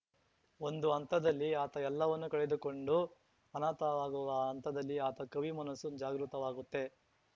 ಒಂದು ಹಂತದಲ್ಲಿ ಆತ ಎಲ್ಲವನ್ನು ಕಳೆದುಕೊಂಡು ಅನಾಥನಾಗುವ ಹಂತದಲ್ಲಿ ಆತ ಕವಿ ಮನಸ್ಸು ಜಾಗೃತವಾಗುತ್ತೆ